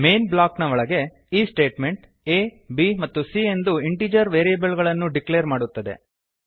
main block ನ ಒಳಗೆ ಈ ಸ್ಟೇಟ್ಮೆಂಟ್ ಆ ಬ್ ಮತ್ತು c ಎಂದು ಇಂಟಿಜರ್ ವೇರಿಯೇಬಲ್ ಗಳನ್ನು ಡಿಕ್ಲೇರ್ ಮಾಡುತ್ತದೆ